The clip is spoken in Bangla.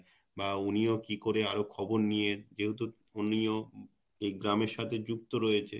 বা উনিও কি করে আরও খবর নিয়ে যেহেতু উনিও এই গ্রামের সাথে যুক্ত রয়েছে